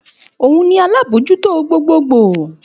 Òun ni alábòójútó gbogbogbò